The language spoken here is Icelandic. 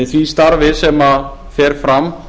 því starfi sem fer fram